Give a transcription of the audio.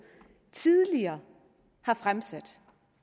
tidligere har fremsat